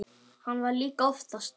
Hann vann líka oftast.